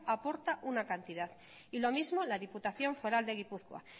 aporta una cantidad y lo mismo la diputación foral de gipuzkoa